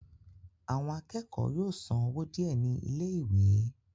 àwọn akẹ́kọ̀ọ́ yóò san owó díẹ̀ ní ilé ìwé